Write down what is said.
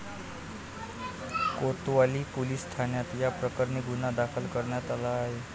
कोतवाली police ठाण्यात याप्रकरणी गुन्हा दाखल करण्यात आला आहे.